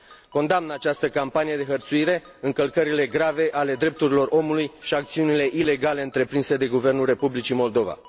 Condamn această campanie de hărțuire, încălcările grave ale drepturilor omului și acțiunile ilegale întreprinse de guvernul Republicii Moldova.